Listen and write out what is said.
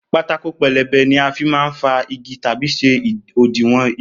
Pátákó pelebe ni a n má fin fa igi tàbí ṣe òdiwọ̀n igi